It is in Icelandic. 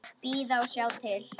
Bíða og sjá til.